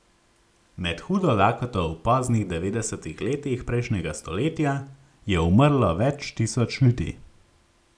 Med hudo lakoto v poznih devetdesetih letih prejšnjega stoletja je umrlo več tisoč ljudi.